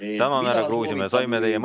Mida soovitab Riigikogu aseesimees?